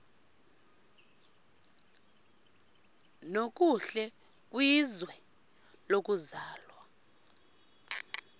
nokuhle kwizwe lokuzalwa